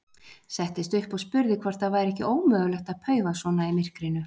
Settist upp og spurði hvort það væri ekki ómögulegt að paufa svona í myrkrinu.